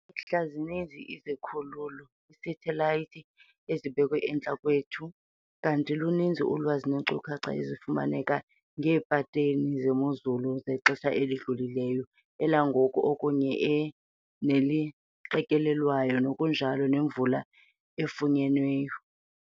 Kule mihla zininzi izikhululo, iiseyitelayithi, ezibekwe entla kwethu kanti luninzi ulwazi neenkcukacha ezifumaneka ngeepateni zemozulu zexesha elidlulileyo, elangoku kunye neqikelelwayo ngokunjalo nemvula efunyenweyo.